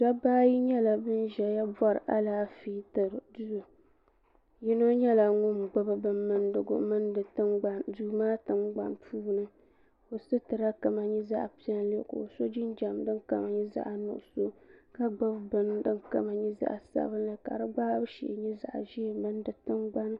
Dabba ayi nyɛla ban ʒɛya bori alaafee tiri bɛ maŋa yino nyɛla ŋun gbibi bin mindigu mindi duu maa tingbanni puuni ka o sitira kama nyɛ zaɣa pilli ka o so jinjiɛm din kam. nyɛ zaɣa nuɣuso ka gbibi bini din kama nyɛ zaɣa sabinli ka di gbaabu shee nyɛ zaɣa ʒee ni di tingbani.